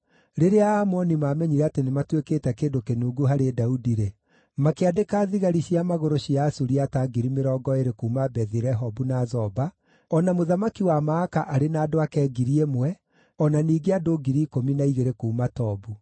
Rĩrĩa Aamoni maamenyire atĩ nĩmatuĩkĩte kĩndũ kĩnungu harĩ Daudi-rĩ, makĩandĩka thigari cia magũrũ cia Asuriata ngiri mĩrongo ĩĩrĩ kuuma Bethi-Rehobu na Zoba, o na mũthamaki wa Maaka arĩ na andũ ake ngiri ĩmwe, o na ningĩ andũ ngiri ikũmi na igĩrĩ kuuma Tobu.